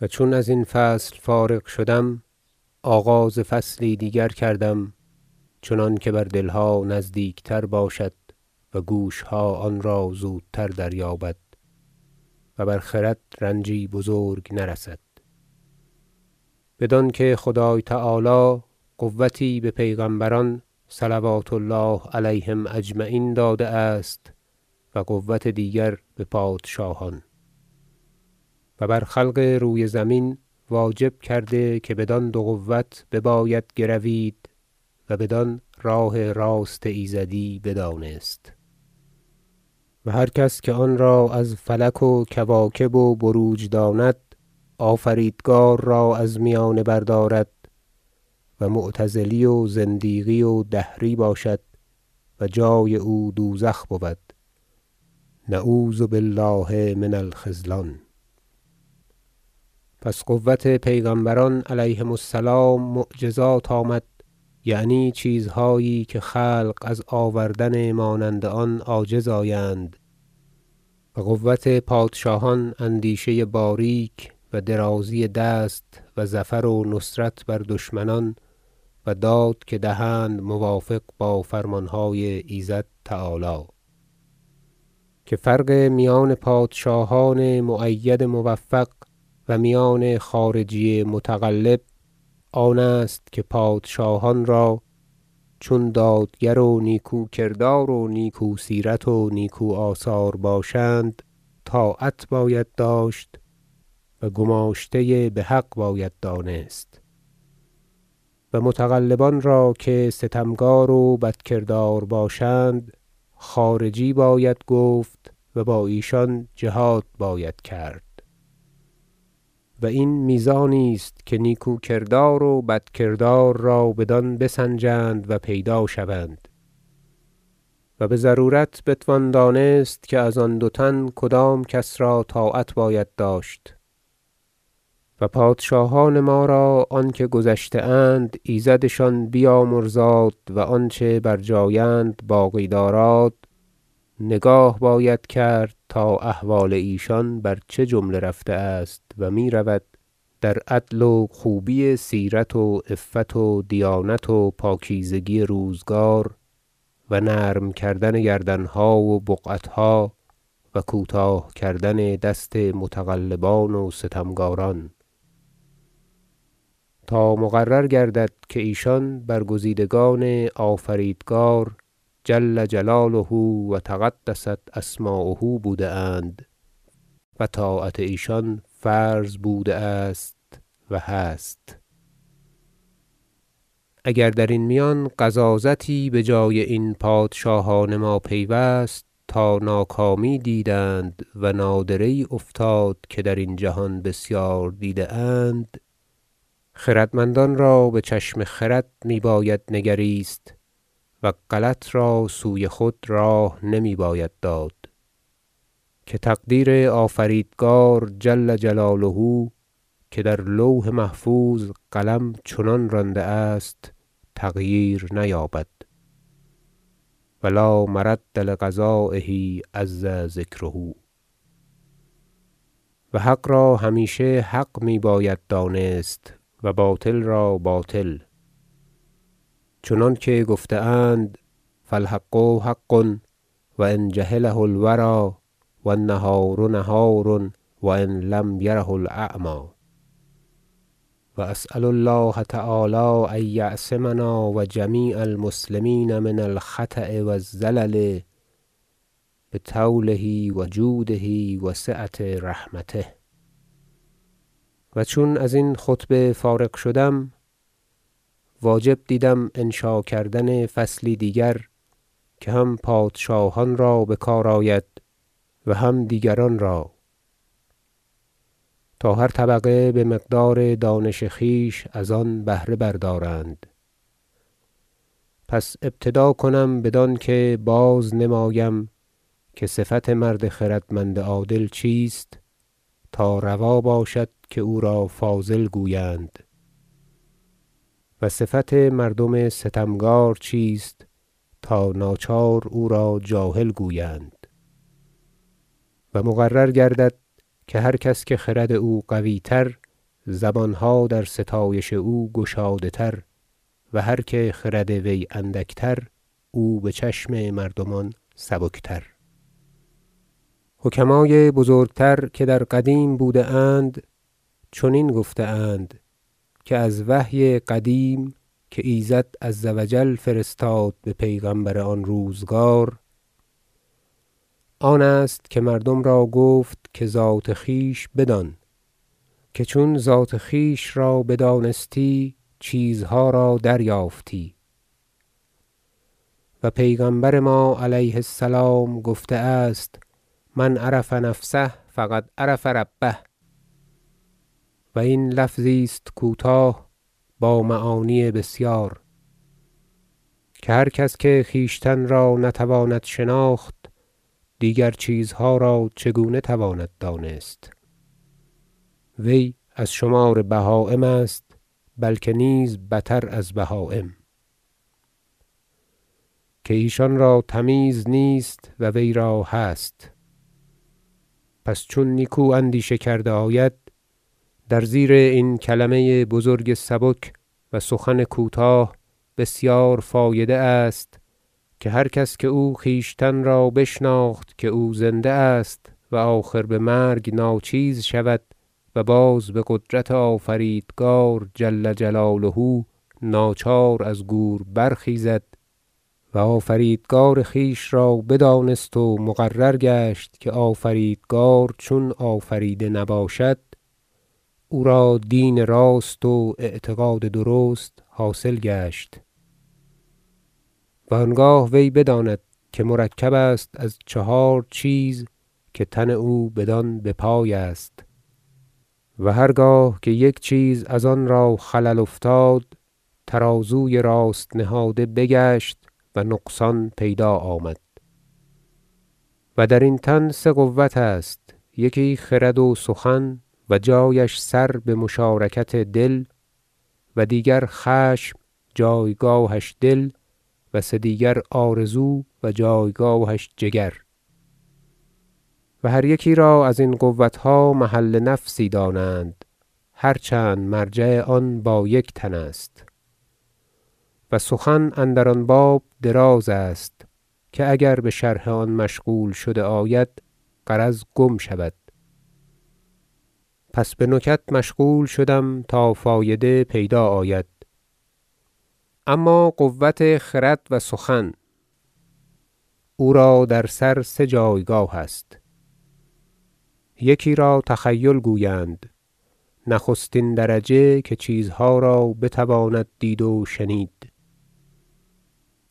و چون از این فصل فارغ شدم آغاز فصلی دیگر کردم چنانکه بر دل ها نزدیک تر باشد و گوش ها آن زودتر دریابد و بر خرد رنجی بزرگ نرسد بدان که خدای تعالی قوتی به پیغمبران صلوات الله علیهم اجمعین داده است و قوة دیگر به پادشاهان و بر خلق روی زمین واجب کرده که بدان دو قوة بباید گروید و بدان راه راست ایزدی بدانست و هر کس که آن را از فلک و کواکب و بروج داند آفریدگار را از میانه بردارد و معتزلی و زندیقی و دهری باشد و جای او دوزخ بود نعوذ بالله من الخذلان پس قوة پیغمبران علیهم السلام معجزات آمد یعنی چیزهایی که خلق از آوردن مانند آن عاجز آیند و قوة پادشاهان اندیشه باریک و درازی دست و ظفر و نصرت بر دشمنان و داد که دهند موافق با فرمان های ایزد تعالی که فرق میان پادشاهان مؤید موفق و میان خارجی متغلب آن است که پادشاهان را چون دادگر و نیکو کردار و نیکو سیرت و نیکو آثار باشند طاعت باید داشت و گماشته به حق باید دانست و متغلبان را که ستمکار و بدکردار باشند خارجی باید گفت و با ایشان جهاد باید کرد و این میزانی است که نیکوکردار و بدکردار را بدان بسنجند و پیدا شوند و به ضرورت بتوان دانست که از آن دو تن کدام کس را طاعت باید داشت و پادشاهان ما را آنکه گذشته اند ایزدشان بیامرزاد و آنچه بر جای اند باقی داراد- نگاه باید کرد تا احوال ایشان بر چه جمله رفته است و می رود در عدل و خوبی سیرت و عفت و دیانت و پاکیزگی روزگار و نرم کردن گردن ها و بقعت ها و کوتاه کردن دست متغلبان و ستمکاران تا مقرر گردد که ایشان برگزیدگان آفریدگار جل جلاله و تقدست اسماؤه بوده اند و طاعت ایشان فرض بوده است و هست اگر در این میان غضاضتی بجای این پادشاهان ما پیوست تا ناکامی دیدند و نادره یی افتاد که درین جهان بسیار دیده اند خردمندان را به چشم خرد می باید نگریست و غلط را سوی خود راه نمی باید داد که تقدیر آفریدگار جل جلاله که در لوح محفوظ قلم چنان رانده است تغییر نیابد و لا مرد لقضایه عز ذکره و حق را همیشه حق می باید دانست و باطل را باطل چنانکه گفته اند فالحق حق و إن جهله الوری و النهار نهار و إن لم یره الأعمی و اسأل الله تعالی ان یعصمنا و جمیع المسلمین من الخطاء و الزلل بطوله و جوده و سعة رحمته و چون از خطبه فارغ شدم واجب دیدم انشا کردن فصلی دیگر که هم پادشاهان را بکار آید و هم دیگران را تا هر طبقه به مقدار دانش خویش از آن بهره بردارند پس ابتدا کنم بدانکه بازنمایم که صفت مرد خردمند عادل چیست تا روا باشد که او را فاضل گویند و صفت مردم ستمکار چیست تا ناچار او را جاهل گویند و مقرر گردد که هر کس که خرد او قوی تر زبان ها در ستایش او گشاده تر و هر که خرد وی اندک تر او به چشم مردمان سبک تر فصل حکمای بزرگ تر که در قدیم بوده اند چنین گفته اند که از وحی قدیم که ایزد عز و جل فرستاد به پیغمبر آن روزگار آن است که مردم را گفت که ذات خویش بدان که چون ذات خویش را بدانستی چیزها را دریافتی و پیغمبر ما -علیه السلام- گفته است من عرف نفسه فقد عرف ربه و این لفظی است کوتاه با معانی بسیار که هر کس که خویشتن را نتواند شناخت دیگر چیزها را چگونه تواند دانست وی از شمار بهایم است بلکه نیز بتر از بهایم که ایشان را تمیز نیست و وی را هست پس چون نیکو اندیشه کرده آید در زیر این کلمه بزرگ سبک و سخن کوتاه بسیار فایده است که هر کس که او خویشتن را بشناخت که او زنده است و آخر به مرگ ناچیز شود و باز به قدرت آفریدگار جل جلاله ناچار از گور برخیزد و آفریدگار خویش را بدانست و مقرر گشت که آفریدگار چون آفریده نباشد او را دین راست و اعتقاد درست حاصل گشت و آنگاه وی بداند که مرکب است از چهار چیز که تن او بدان بپای است و هرگاه که یک چیز از آن را خلل افتاد ترازوی راست نهاده بگشت و نقصان پیدا آمد و در این تن سه قوة است یکی خرد و سخن و جایش سر به مشارکت دل و دیگر خشم جایگاهش دل و سه دیگر آرزو و جایگاهش جگر و هر یکی را ازین قوت ها محل نفسی دانند هرچند مرجع آن با یک تن است و سخن اندر آن باب دراز است که اگر به شرح آن مشغول شده آید غرض گم شود پس به نکت مشغول شدم تا فایده پیدا آید اما قوة خرد و سخن او را در سر سه جایگاه است یکی را تخیل گویند نخستین درجه که چیزها را بتواند دید و شنید